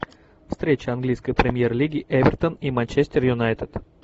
встреча английской премьер лиги эвертон и манчестер юнайтед